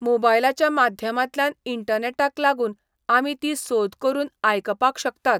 मोबायलाच्या माध्यमांतल्यान, इण्टनॅटाक लागून आमी तीं सोद करून आयकपाक शकतात.